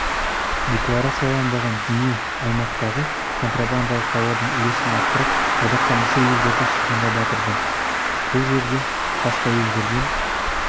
декларацияланбаған дүние аймақтағы контрабандалық тауардың үлесін арттырып одаққа мүше елдерді шығынға батырды бұл жерде басқа елдерден